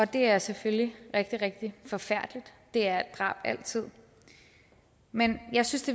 det er selvfølgelig rigtig rigtig forfærdeligt det er drab altid men jeg synes